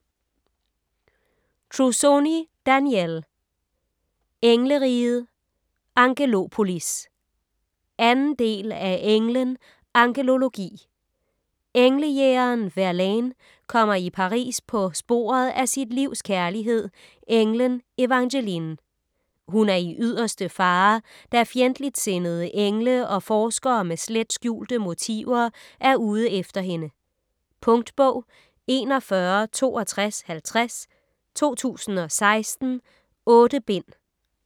Trussoni, Danielle: Engleriget - Angelopolis 2. del af Englen - angelologi. Englejægeren Verlaine kommer i Paris på sporet af sit livs kærlighed, englen Evangeline. Hun er i yderste fare, da fjendtligtsindede engle og forskere med slet skjulte motiver er ude efter hende. . Punktbog 416250 2016. 8 bind.